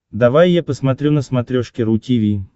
давай я посмотрю на смотрешке ру ти ви